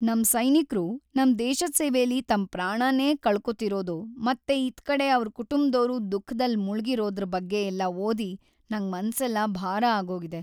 ನಮ್ ಸೈನಿಕ್ರು ನಮ್ ದೇಶದ್ ಸೇವೆಲಿ ತಮ್‌ ಪ್ರಾಣನೇ ಕಳ್ಕೋತಿರೋದು ಮತ್ತೆ ಇತ್ಕಡೆ ಅವ್ರ್‌ ಕುಟುಂಬ್ದೋರು ದುಃಖದಲ್‌ ಮುಳ್ಗಿರೋದ್ರ್‌ ಬಗ್ಗೆಯೆಲ್ಲ ಓದಿ ನಂಗ್‌ ಮನ್ಸೆಲ್ಲ ಭಾರ ಆಗೋಗಿದೆ.